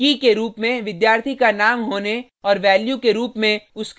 कीkey के रुप में विद्यार्थी का नाम होने